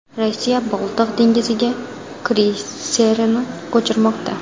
Rossiya Boltiq dengiziga kreyserini ko‘chirmoqda.